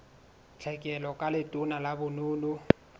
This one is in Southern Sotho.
tlhekelo ka letona la bonono